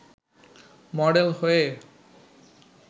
model হয়ে